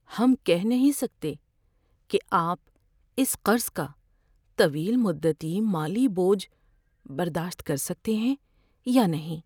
ہم کہہ نہیں سکتے کہ آپ اس قرض کا طویل مدتی مالی بوجھ برداشت کر سکتے ہیں یا نہیں۔